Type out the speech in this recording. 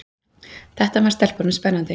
Þetta fannst stelpunum spennandi.